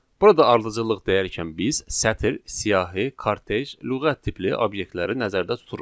Burada ardıcıllıq deyərkən biz sətir, siyahı, kortec, lüğət tipli obyektləri nəzərdə tuturuq.